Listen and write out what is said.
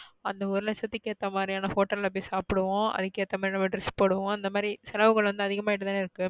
அந்த ஒரு லச்சதுக்கு எத்த மாத்ரியான hotel ல போய் சாப்டுவோம். அதுக்கு ஏத்த மாதிரி நம்ம dress போடுவோம். இந்த மாதிரி செலவு கணக்கு அதிகமாய்டுதான இருக்கு.